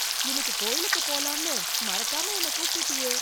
இன்னிக்கு கோயிலுக்குப் போலாம்னு, மறக்காம என்னை கூப்ட்டுட்டியே...